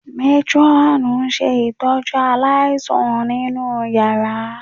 Métírọ́ọ̀nù ń ṣe ìtọ́jú aláìsàn nínú yàrá